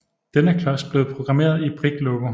Denne klods blev programmeret i Brick Logo